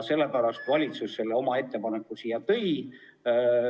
Sellepärast valitsus oma ettepaneku siia tõigi.